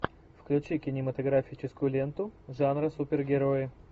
включи кинематографическую ленту жанра супергерои